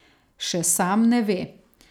Še sam ne ve!